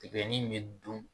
Tigɛnin bɛ dun.